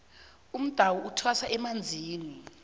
umdawu kuthwasa emanzini